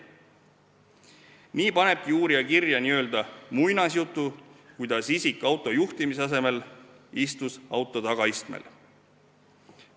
Nii panebki uurija kirja n-ö muinasjutu, kuidas see isik auto juhtimise asemel istus auto tagaistmel.